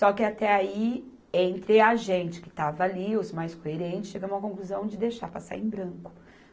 Só que até aí, entre a gente que estava ali, os mais coerentes, chegamos à conclusão de deixar passar em branco.